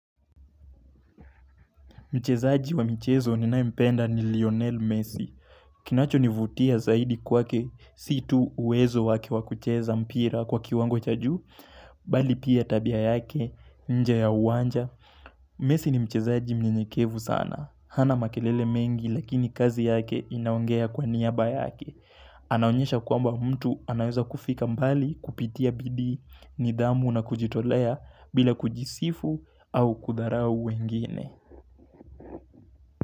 Mchezaji wa michezo ninayempenda nilionel messi. Kinacho nivutia zaidi kwake situ uwezo wake wakucheza mpira kwa kiwango chajuu, bali pia tabia yake, nje ya uwanja. Messi ni mchezaji mnyenyekevu sana. Hana makelele mengi lakini kazi yake inaongea kwa niaba yake. Anaonyesha kwamba mtu anaweza kufika mbali kupitia bidii, ni dhamu na kujitolea bila kujisifu au kudharau wengine.